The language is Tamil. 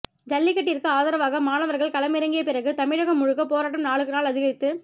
ஜல்லிக்கட்டிற்கு ஆதரவாக மாணவர்கள் களமிறங்கியபிறகு தமிழம் முழுக்க போராட்டம் நாளுக்கு நாள்அதிகரித்து